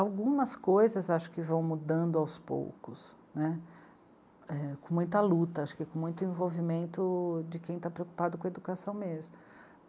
Algumas coisas acho que vão mudando aos poucos, né, com muita luta, com muito envolvimento de quem está preocupado com educação mesmo.